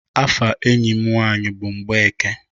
Afa enyi m nwanyi bụ Mgbeke.